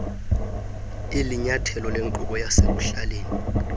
ilinyathelo lenkubo yasekuhlaleni